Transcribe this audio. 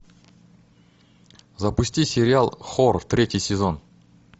запусти сериал хор третий сезон